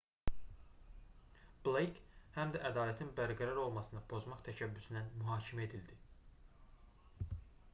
bleyk həm də ədalətin bərqərar olmasını pozmaq təşəbbüsündən mühakimə edildi